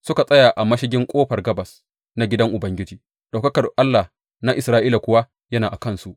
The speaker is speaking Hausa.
Suka tsaya a mashigin ƙofar gabas na gidan Ubangiji, ɗaukakar Allah na Isra’ila kuwa yana a kansu.